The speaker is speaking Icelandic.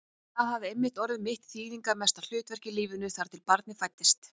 Og það hafði einmitt orðið mitt þýðingarmesta hlutverk í lífinu, þar til barnið fæddist.